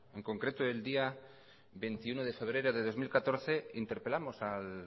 en concreto el día veintiuno de febrero de dos mil catorce interpelamos al